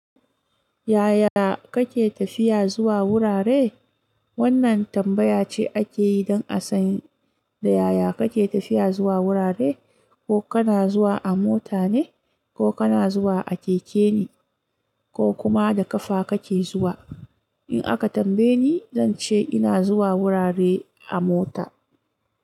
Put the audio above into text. Yaya kake tafiya zuwa wurare? Wannan tambaya ce akeyi don a san da yaya kake tafiya zuwa wurare, ko kana zuwa a mota ne, ko kana zuwa a keke ne, ko kuma da kafa kake zuwa. In aka tambaye ni, zan ce ina zuwa wurare a mota.